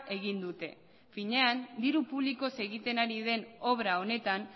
egin dute finean diru publikoz egiten ari den obra honetan